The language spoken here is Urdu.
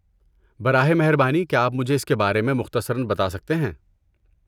براہ مہربانی کیا آپ مجھے اس کے بارے میں مختصراً بتا سکتے ہیں؟